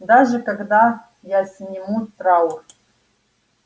даже когда я сниму траур